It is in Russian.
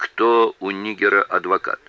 кто у нигера адвокат